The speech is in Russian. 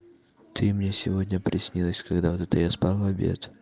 ты мне сегодня приснилась когда вот это я спал в обед